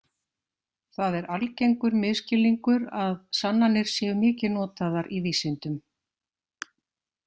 Það er algengur misskilningur að sannanir séu mikið notaðar í vísindum.